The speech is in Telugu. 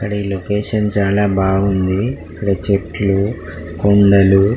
ఇక్కడ ఈ లొకేషన్ చాల బావుంది ఇక్కడ చెట్లు కొండలు --.